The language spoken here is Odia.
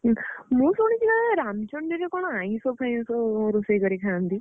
ହୁଁ ମୁଁ ଶୁଣିଛି କଣ ରାମଚଣ୍ଡୀରେ କଣ ଆଇଁଷ ଫାଇଁଷ ଅ ରୋଷେଇ କରି ଖାଆନ୍ତି?